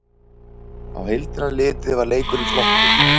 Á heildina litið var leikurinn flottur